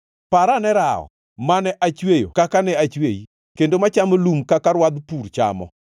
“Parane rawo, mane achweyo kaka ne achweyi kendo machamo lum kaka rwadh pur chamo.